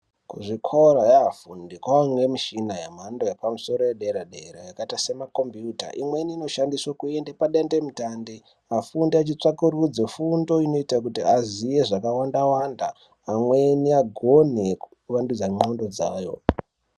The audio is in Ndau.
Zvikora kwanemushina yemhando yepamusoro yedera dera yakaita semakombiuta imweni inoshandiswa kuenda pandande mutande kufunda tsvkurudzo fundo inoita Kuti azive zvakawanda pamweni agone kuvandudza ndxondo dzavo.